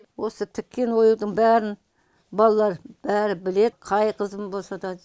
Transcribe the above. осы тіккен оюдың бәрін балалар бәрі біледі қай қызым болса да